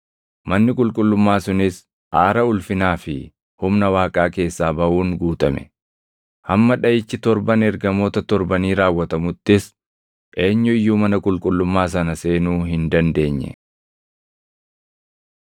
Manni qulqullummaa sunis aara ulfinaa fi humna Waaqaa keessaa baʼuun guutame; hamma dhaʼichi torban ergamoota torbanii raawwatamuttis eenyu iyyuu mana qulqullummaa sana seenuu hin dandeenye.